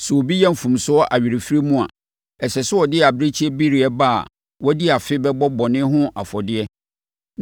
“ ‘Sɛ obi yɛ mfomsoɔ awerɛfirie mu a, ɛsɛ sɛ ɔde abirekyibereɛ ba a wadi afe bɛbɔ bɔne ho afɔdeɛ